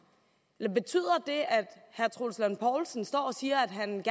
eller betyder det at herre troels lund poulsen står og siger at han